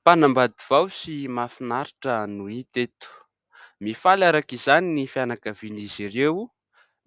Mpanambady vao sy mahafinaritra no hita eto. Mifaly arak'izany ny fianakavian'izy ireo.